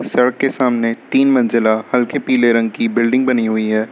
सड़क के सामने तीन मंजिला हल्के पीले रंग की बिल्डिंग बनी हुई है।